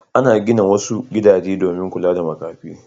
Ana gina wasu gidajen domin kula da makafi.